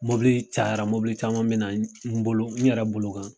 Mɔbili cayara mɔbili caman bɛna n bolo, n yɛrɛ bolo kan